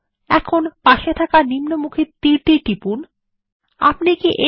এখন নিম্নমুখী তীর টিপুন যা পাশাপাশি প্রদর্শন করা হয়